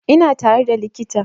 Ina tare da likita